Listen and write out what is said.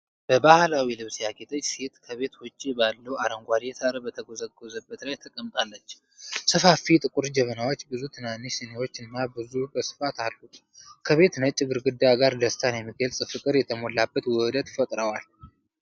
በባሕላዊ ልብስ ያጌጠች ሴት ከቤት ውጪ ባለው አረንጓዴ ሳር በተጎዘጎዘበት ላይ ተቀምጣለች። ሰፋፊ ጥቁር ጀበናዎች፣ ብዙ ትናንሽ ሲኒዎች እና ቡና በስፋት አሉ፤ ከቤቱ ነጭ ግድግዳ ጋር ደስታን የሚገልጽ ፍቅር የተሞላበት ውህደት ፈጥረዋል።